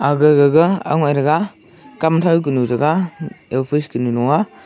agagaga angoik taga khamthau kunu ta chaga nunuaa.